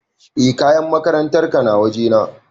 E kayan makarantar ka na waje na